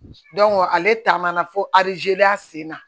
ale taa man na fo alizeriya senna